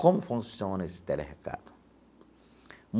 Como funciona esse tele recado?